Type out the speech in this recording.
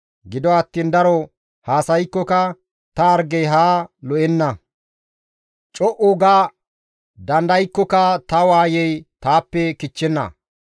«Gido attiin daro haasaykkoka ta hargey haa lo7enna; co7u ga dandaykkoka ta waayey taappe kichchenna.